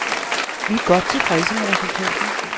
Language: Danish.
Vi er godt tilfredse med resultatet.